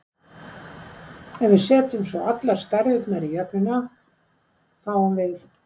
Ef við setjum svo allar stærðirnar í jöfnuna, fáum við